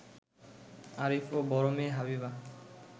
আরিফ ও বড় মেয়ে হাবিবা